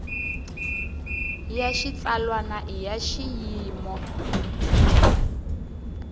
ya xitsalwana i ya xiyimo